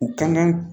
U kan ka